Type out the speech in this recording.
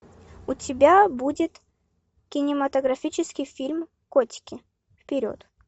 у тебя будет кинематографический фильм котики вперед